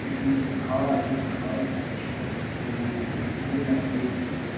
এখানে কিছু খাওয়া আছেগুলো। খাওয়ারও খাচ্ছে মনে হয় গুলো। খুব সুন্দর লাগছে এই ফলগুলো।